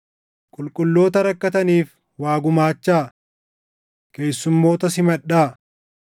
Qulqulloota rakkataniif waa gumaachaa. Keessummoota simadhaa.